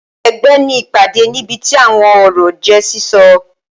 Ẹgbẹ ní ìpàdé, níbití awọn ọrọ je sísọ.